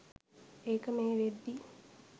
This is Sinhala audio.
ඒක මේ වෙද්දි.